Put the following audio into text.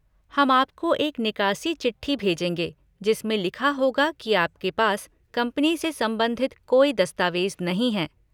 हम आपको एक निकासी चिट्ठी भेजेंगे जिसमें लिखा होगा कि आपके पास कंपनी से संबंधित कोई दस्तावेज़ नहीं है।